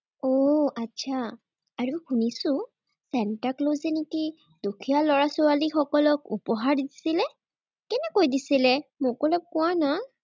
উম আটছা। আৰু শুনিছো, চান্তাক্লজে নেকি দুখীয়া ল'ৰা-ছোৱালীসকলক উপহাৰ দিছিলে। কেনেকৈ দিছিলে, মোক অলপ কোৱানা।